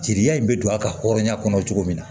Jiriya in bɛ don a ka hɔrɔnya kɔnɔ cogo min na